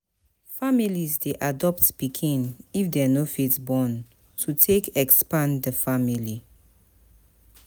Families de adopt pikin if dem no fit born to take expand di family